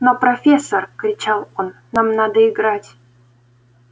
но профессор кричал он нам надо играть